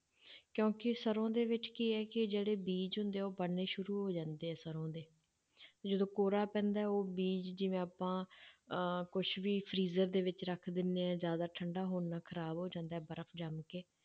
ਕਿਉਂਕਿ ਸਰੋਂ ਦੇ ਵਿੱਚ ਕੀ ਹੈ ਕਿ ਜਿਹੜੇ ਬੀਜ਼ ਹੁੰਦੇ ਆ, ਉਹ ਬਣਨੇ ਸ਼ੁਰੂ ਹੋ ਜਾਂਦੇ ਆ ਸਰੋਂ ਦੇ, ਤੇ ਜਦੋਂ ਕੋਹਰਾ ਪੈਂਦਾ ਹੈ ਉਹ ਬੀਜ਼ ਜਿਵੇਂ ਆਪਾਂ ਅਹ ਕੁਛ ਵੀ freezer ਦੇ ਵਿੱਚ ਰੱਖ ਦਿੰਦੇ ਹਾਂ ਜ਼ਿਆਦਾ ਠੰਢਾ ਹੋਣ ਨਾਲ ਖ਼ਰਾਬ ਹੋ ਜਾਂਦਾ ਹੈ ਬਰਫ਼ ਜੰਮ ਕੇ